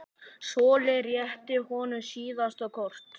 Solla rétti honum síðasta kort.